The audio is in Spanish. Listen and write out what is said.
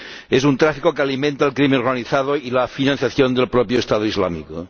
Es un tráfico que alimenta el crimen organizado y la financiación del propio Estado Islámico.